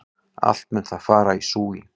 Allt mun það fara í súginn!